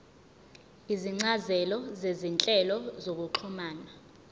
izincazelo zezinhlobo zokuxhumana